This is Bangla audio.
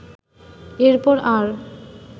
এরপর আর